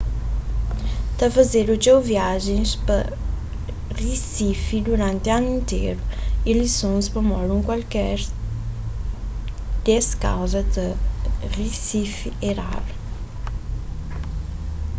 ta fazedu txeu viajen pa risifi duranti anu interu y lizons pamodi un kualker des kauzas na risifi é raru